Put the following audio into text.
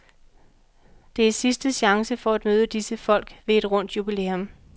Det er sidste chance for at møde disse folk ved et rundt jubilæum.